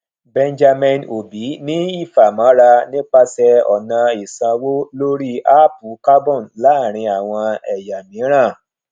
benjamin obi ní ìfàmọra nípasẹ ọnà ìsanwó lórí áápù carbon láàárín àwọn ẹyà mìíràn